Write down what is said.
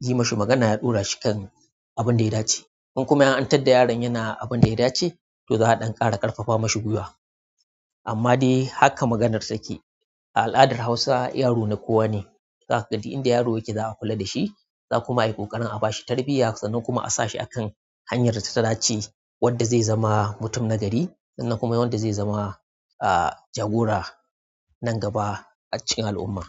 yayi mishi magana, ya ɗaurashi akan abunda ya dace. In kuma an tadda yaron yana abin da ya dace, to za a ɗan ƙara ƙarfafa mashi gwiwa. Amma dai haka maganar take. A al'adar Hausawa yaro na kowa ne. Za ka ga duk inda yaro yake za a kula da shi, za kuma yi ƙoƙarin a ba shi tarbiyya sannan kuma a sa shi a kan hanyar da ta dace, wadda zai zama mutum nagari sannan kuma wanda zai zama jagora nan gaba a cikin al'umma.